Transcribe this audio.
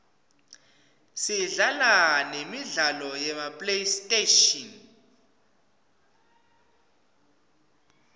sidlala nemidlalo yema playstation